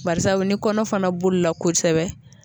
Barisabu ni kɔnɔ fana boli la kosɛbɛ